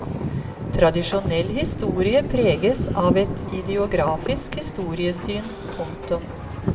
Tradisjonell historie preges av et ideografisk historiesyn. punktum